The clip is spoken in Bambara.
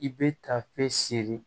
I bɛ tafe si seere